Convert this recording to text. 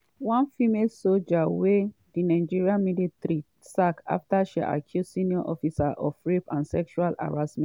one female soja wey di nigerian military sack afta she accuse some senior officers of rape and sexual harassment